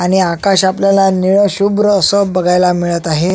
आणि आकाश आपल्याला नीळ शुभ्र अस बघायला मिळत आहे.